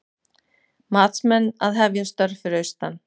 Matsmenn að hefja störf fyrir austan